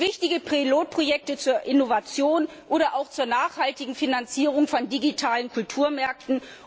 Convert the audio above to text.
Es gibt wichtige Pilotprojekte zur Innovation oder auch zur nachhaltigen Finanzierung von digitalen Kulturmärkten.